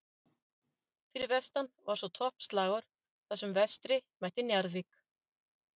Fyrir vestan var svo toppslagur þar sem Vestri mætti Njarðvík.